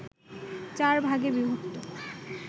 চার ভাগে বিভক্ত